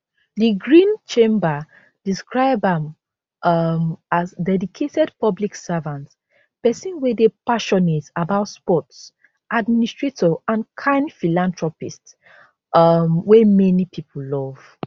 di green chamber describe am um as dedicated public servant pesin wey dey passionate about sports administrator and kind philanthropist um wey many pipo love